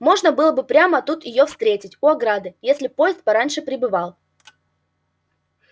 можно было бы прямо тут её встретить у ограды если б поезд пораньше прибывал